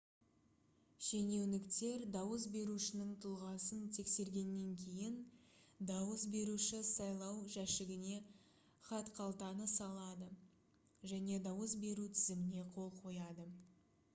шенеуніктер дауыс берушінің тұлғасын тексергеннен кейін дауыс беруші сайлау жәшігіне хатқалтаны салады және дауыс беру тізіміне қол қояды